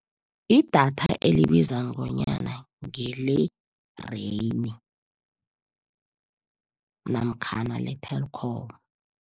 Idatha elibiza nconywana, ngele-Rain namkhana le-Telkom.